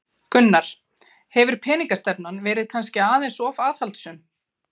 Gunnar: Hefur peningastefnan verið kannski of aðhaldssöm?